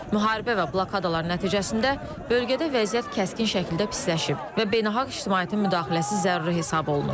Müharibə və blokadalar nəticəsində bölgədə vəziyyət kəskin şəkildə pisləşib və beynəlxalq ictimaiyyətin müdaxiləsi zəruri hesab olunur.